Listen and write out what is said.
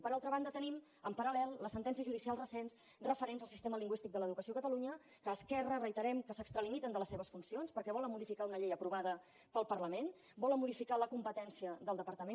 per altra banda tenim en paral·cials recents referents al sistema lingüístic de l’educació a catalunya que esquerra reiterem que s’extralimiten de les seves funcions perquè volen modificar una llei aprovada pel parlament volen modificar la competència del departament